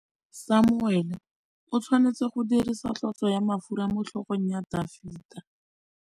Samuele o tshwanetse go dirisa tlotsô ya mafura motlhôgong ya Dafita.